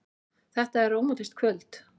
Þetta er rómantískt kvöld.